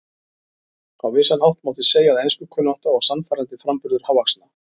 Á vissan hátt mátti segja að enskukunnátta og sannfærandi framburður hávaxna